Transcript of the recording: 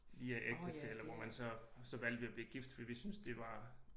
Via ægtefælle hvor man så så valgte vi at blive gift fordi vi synes det var